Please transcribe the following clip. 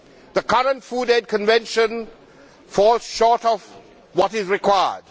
The current Food Aid Convention falls short of what is required.